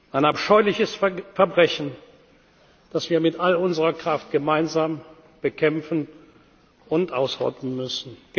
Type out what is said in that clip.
werden ein abscheuliches Verbrechen, das wir mit all unserer Kraft gemeinsam bekämpfen und ausrotten